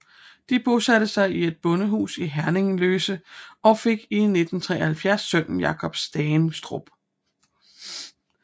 De bosatte sig i et bondehus i Herringløse og fik i 1973 sønnen Jacob Stangerup